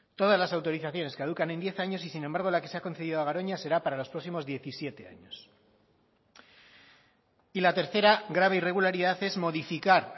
todas las autorizaciones caducan en diez años y sin embargo la que se ha concedido a garoña será para los próximos diecisiete años y la tercera grave irregularidad es modificar